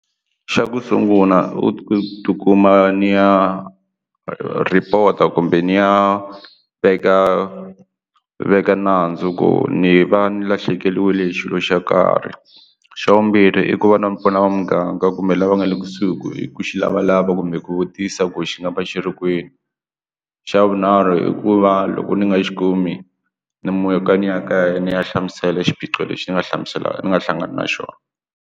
Xa ku sungula u ku ti kuma ni ya report-a kumbe ni ya veka veka nandzu ku ni va ni lahlekeriwile hi xilo xo karhi xa vumbirhi i ku va na mpfula va muganga kumbe lava nga le kusuhi ku i ku xi lavalava kumbe ku vutisa ku xi nga va xitikweni xa vunharhu i ku va loko ni nga xi kumi ni muka ni ya kaya ni ya hlamusela xiphiqo lexi ni nga hlamuselaka ni nga hlangana na xona.